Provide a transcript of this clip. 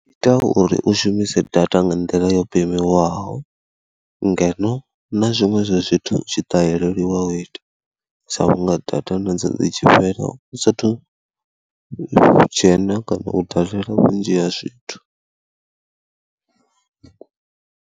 Itai uri u shumise data nga nḓila yo pemiwaho ngeno na zwiṅwe zwa zwithu zwi tshi ṱaheleliwa u ita sa vhunga data nadzo dzi tshi fhela u saathu dzhena kana u dalela vhunzhi ha zwithu.